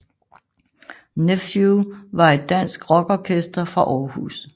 Nephew var et dansk rockorkester fra Århus